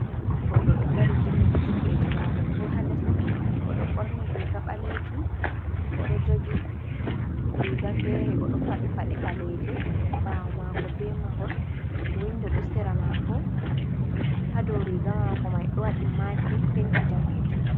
Goɗɗo ɗo dari jimmiti juɗeeji maako fu haa les. Oɗo ɓorni riga ɓaleejum, oɗo jogi riga feere, oɗo faɗi paɗe ɓaleeje, ɓaawo maako be mahol, windo ɗo sera maako, haa dou riga maako mai ɗo waɗi makin penti daneejum.